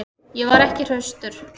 Ég var ekki hraustur.